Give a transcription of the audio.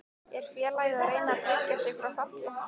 Er félagið að reyna að tryggja sig frá falli?